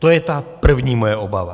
To je ta první moje obava.